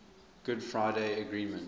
good friday agreement